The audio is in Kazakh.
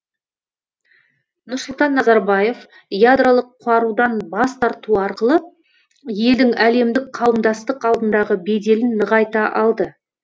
нұрсұлтан назарбаев ядролық қарудан бас тарту арқылы елдің әлемдік қауымдастық алдындағы беделін нығайта алды